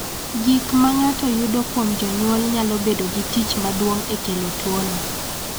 Gik ma ng�ato yudo kuom jonyuol nyalo bedo gi tich maduong� e kelo tuono.